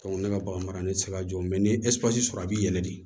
ne ka bagan mara ne tɛ se ka jɔ ni ye sɔrɔ a bɛ yɛlɛ de